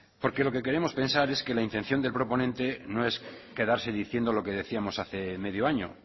porque lo que queremos pensar es que la intención del proponente no es quedarse diciendo lo que decíamos hace medio año